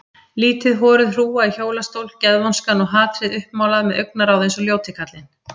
Lítil horuð hrúga í hjólastól, geðvonskan og hatrið uppmálað með augnaráð eins og ljóti kallinn.